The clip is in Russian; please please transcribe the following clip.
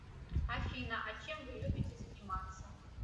афина а чем вы любите заниматься